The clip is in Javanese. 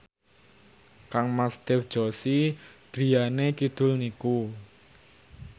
kangmas Dev Joshi griyane kidul niku